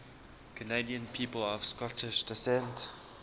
canadian people of scottish descent